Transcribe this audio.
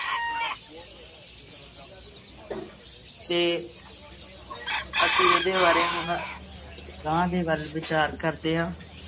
ਤੇ ਅਸੀਂ ਇਹਦੇ ਬਾਰੇ ਹੁਣ ਅਗਾਂਹ ਦੀ ਗੱਲ ਵਿਚਾਰ ਕਰਦੇ ਹਾਂ।